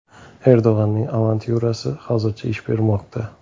Erdo‘g‘onning avantyurasi hozircha ish bermoqda.